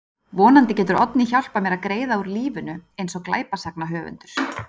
Vonandi getur Oddný hjálpað mér að greiða úr lífinu eins og glæpasagnahöfundur.